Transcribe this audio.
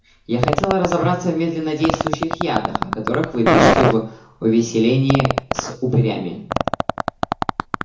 я хотела разобраться в медленнодействующих ядах о которых вы пишете в увеселении с упырями